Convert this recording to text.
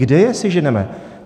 Kde je seženeme?